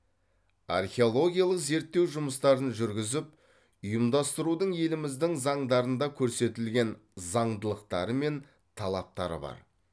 археологиялық зерттеу жұмыстарын жүргізіп ұйымдастырудың еліміздің заңдарында көрсетілген заңдылықтары мен талаптары бар